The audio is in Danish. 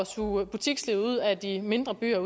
suge butikslivet ud af de mindre byer